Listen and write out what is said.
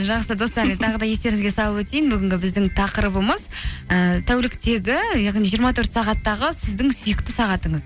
жақсы достар тағы да естеріңізге салып өтейін бүгінгі біздің тақырыбымыз і тәуліктегі яғни жиырма төрт сағаттағы сіздің сүйікті сағатыңыз